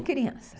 crianças.